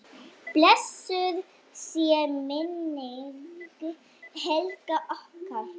Blessuð sé minning Helgu okkar.